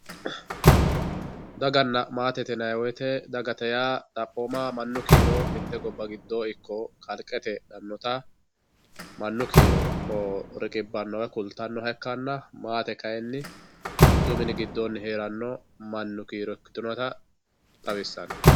daganna maate yinayii woyiite dagate yaa xaphooma mannu kiiro mitte gobba giddoo ikko kalqete heedhannota mannu kiiro riqibbanno woy kultannoha ikkanna maate kayiinni mittu mini giddoonni heeranno mannu kiiro ikkitinota xawissanno.